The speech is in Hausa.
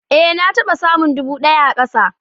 Ée na taɓa samun dubu daya a kasa